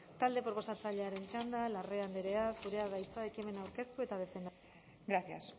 talde proposatzailearen txanda larrea andrea zurea da hitza ekimen aurkeztu eta defendatzeko gracias